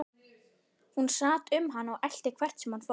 Hún sat um hann og elti hvert sem hann fór.